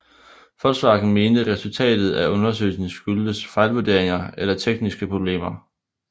Volkswagen mente resultatet af undersøgelsen skyldtes fejlvurderinger eller tekniske problemer